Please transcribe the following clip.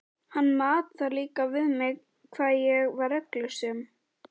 Hann mat það líka við mig hvað ég var reglusöm.